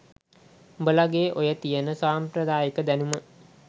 උඹලගෙ ඔය තියෙන සම්ප්‍රදායික දැනුම